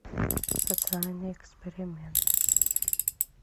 социальный эксперимент